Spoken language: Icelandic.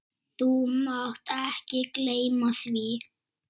Þú mátt ekki gleyma því!